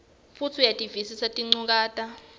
futsi uyativisisa tinchukaca